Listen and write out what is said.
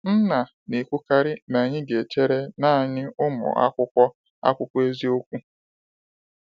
Nna na ekwu karị na anyị ga echere naanị ụmụ akwụkwọ akwụkwọ eziokwu.